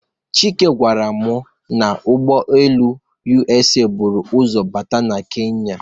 Chike gwara m n'ụgbọ elu USA buru ụzọ bata na Kenya.